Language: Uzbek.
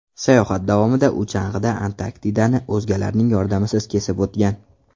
Sayohat davomida u chang‘ida Antarktidani o‘zgalarning yordamisiz kesib o‘tgan.